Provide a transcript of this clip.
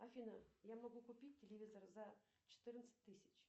афина я могу купить телевизор за четырнадцать тысяч